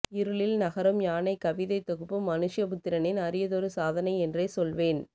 இருளில் நகரும் யானை கவிதைத்தொகுப்பு மனுஷ்யபுத்திரனின் அரியதொரு சாதனை என்றே சொல்வேன்